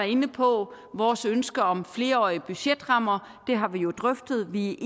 inde på vores ønske om flerårige budgetrammer det har vi jo drøftet vi